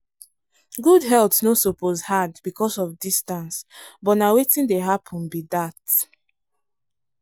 good health no suppose hard because of distance but na wetin dey happen be dat.